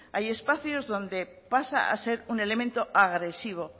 hay espacios donde pasa a ser un elemento agresivo